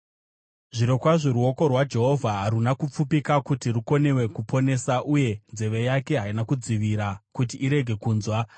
Zvirokwazvo ruoko rwaJehovha haruna kupfupika kuti rukonewe kuponesa, uye nzeve yake haina kudzivira kuti irege kunzwa.